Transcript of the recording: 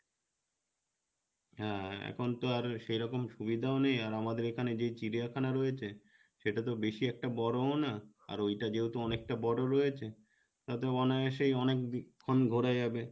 হ্যাঁ এখন তো আর সেরকম সুবিধাও নেই আর আমাদের এখানে যেই চিড়িয়াখানা রয়েছে সেটা তো বেশি একটা বড়োও না আর ওইটা যেহেতু অনেকটা বড়ো রয়েছে তাতে অনাআসে অনেকক্ষণ ঘোরা যাবে,